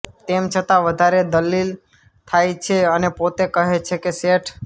તેમ છતાં વધારે દલીલ થાય છે અને પોતે કહે છે કે શેઠ